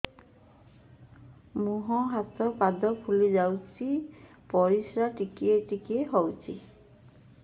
ମୁହଁ ହାତ ପାଦ ଫୁଲି ଯାଉଛି ପରିସ୍ରା ଟିକେ ଟିକେ ହଉଛି